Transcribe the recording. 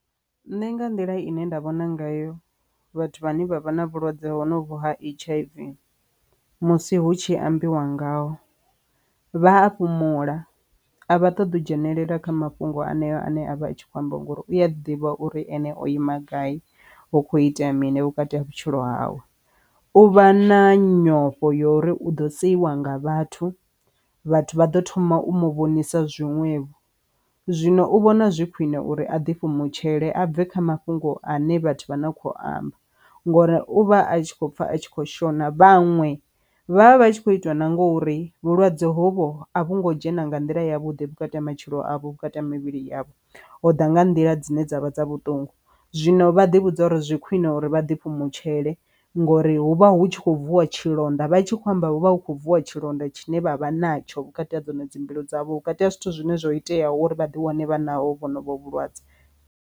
Nṋe nga nḓila ine nda vhona ngayo vhathu vhane vha vha na vhulwadze hovhu ha H_I_V musi hu tshi ambiwa ngaho vha a fhumula a vha ṱoḓa u dzhenelela kha mafhungo aneo ane avha atshi kho ambiwa nga uri uya ḓivha uri ene o ima gai hu kho itea mini vhukati ha vhutshilo hawe. U vha na nyofho uri u ḓo sedziwa nga vhathu vhathu vha ḓo thoma u mu vhonise zwiṅwevho zwino u vhona zwi khwine uri a ḓifha mu tshele a bve kha mafhungo ane vhathu vha na kho amba ngori uvha a kho pfa a tshi kho shona. Vhaṅwe vha vha vha tshi kho itiwa na ngori vhulwadze hovho a vhu ngo dzhena nga nḓila ya vhuḓi vhukati ha matshilo avho vhukati ha mivhili yavho hoda nga nḓila dzine dzavha dza vhuṱungu zwino vha ḓi vhudza uri zwi khwine uri vha ḓi fhumula tshele ngori huvha hu tshi kho bviwa tshilonda vha tshi kho amba huvha hu kho bviwa tshilonda tshine vha vha natsho vhukati ha dzono dzi mbilu dzavho vhukati ha zwithu zwine zwo itea uri vha ḓi wane vha naho vhonovhu vhulwadze.